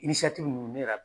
nunnu, ne de ya